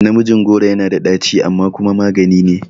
Namiji goro yana da ɗaci amma kuma maganine